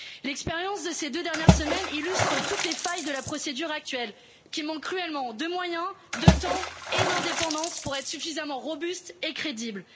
L'expérience de ces deux dernières semaines illustre toutes les failles de la procédure actuelle, qui manque cruellement de moyens, de temps et d'indépendance pour être suffisamment robuste et crédible.